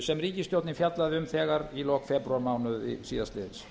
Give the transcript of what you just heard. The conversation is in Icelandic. sem ríkisstjórnin fjallaði um þegar í lok febrúarmánaðar síðastliðinn